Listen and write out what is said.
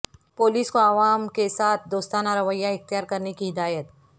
police کو عوام کے ساتھ دوستانہ رویہ اختیار کرنے کی ہدایت